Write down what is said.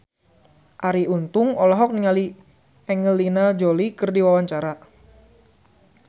Arie Untung olohok ningali Angelina Jolie keur diwawancara